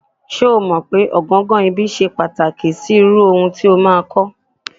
Ṣé́ o mọ̀ pé ọ̀gangan ibi ṣe pàtàkì sí irú ohun tí o máa kọ́.